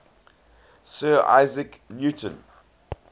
sir isaac newton